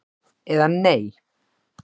eða Nei!